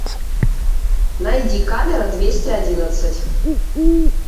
найди камера двести одиннадцать